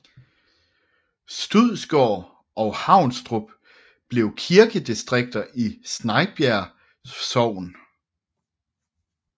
Studsgård og Havnstrup blev kirkedistrikter i Snejbjerg Sogn